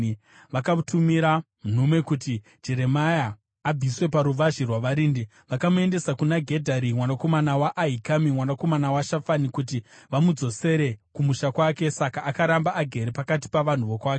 vakatumira nhume kuti Jeremia abviswe paruvazhe rwavarindi. Vakamuendesa kuna Gedharia mwanakomana waAhikami, mwanakomana waShafani, kuti vamudzosere kumusha kwake. Saka akaramba agere pakati pavanhu vokwake.